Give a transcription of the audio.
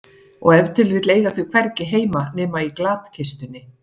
Og ef til vill eiga þau hvergi heima nema í glatkistunni.